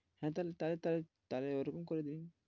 হ্যাঁ তাহলে তাহলে তো তাহলে ওরকম করে দিন